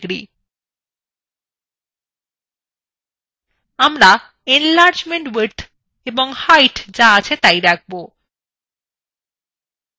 আমরা enlargement width এবং height যা আছে তাই রাখব